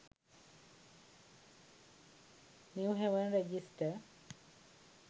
new haven register